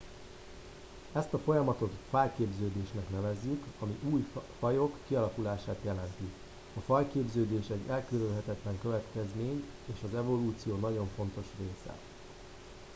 ezt a folyamatot fajképződésnek nevezzük ami új fajok kialakulását jelenti a fajképződés egy elkerülhetetlen következmény és az evolúció nagyon fontos része